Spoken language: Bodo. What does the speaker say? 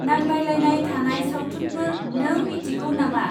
नांलायलायनाय थानाय सावथुनफोर नों मिथिगौ नामा?